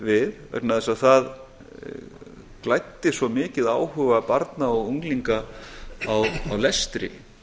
við vegna þess að það glæddu svo mikið áhuga barna og unglinga á lestri